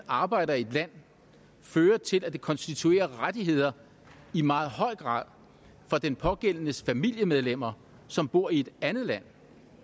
arbejder i et land fører til at det konstituerer rettigheder i meget høj grad for den pågældendes familiemedlemmer som bor i et andet land